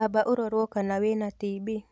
Amba ũrorwo kana wĩna TB